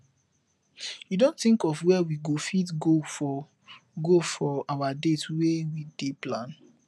you don think of where we go fit go for go for our date wey we dey plan